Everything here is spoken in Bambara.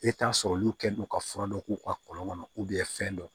E t'a sɔrɔ olu kɛ don ka fura dɔ k'u ka kɔlɔn kɔnɔ fɛn dɔ